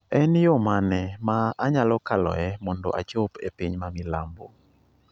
En yo mane ma anyalo kaloe mondo achop e piny ma milambo?